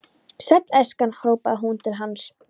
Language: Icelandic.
Sæll elskan hrópaði hún til hans.